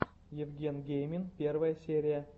евген геймин первая серия